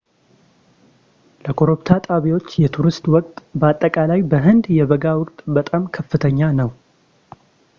ለኮረብታ ጣቢያዎች የቱሪስት ወቅት በአጠቃላይ በሕንድ የበጋ ወቅት በጣም ከፍተኛ ነው